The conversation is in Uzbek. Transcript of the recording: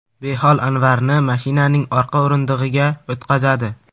Behol Anvarni mashinaning orqa o‘rindig‘iga o‘tqazadi.